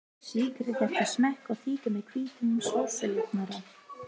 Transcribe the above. Sykrið eftir smekk og þykkið með hvítum sósujafnara.